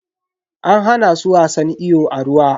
An hana su wasan iyo a ruwa.